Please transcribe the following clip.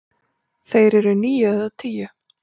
Þeir eru níu eða tíu.